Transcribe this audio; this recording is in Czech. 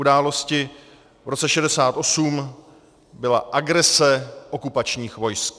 Událostí v roce 1968 byla agrese okupačních vojsk.